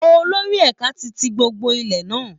Olórí ẹ̀ka ti tí gbogbo ilé náà